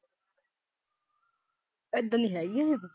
ਹੈਗੀ ਉਹ।